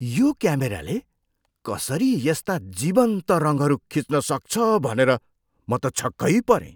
यो क्यामेराले कसरी यस्ता जीवन्त रङहरू खिच्न सक्छ भनेर म त छक्कै परेँ।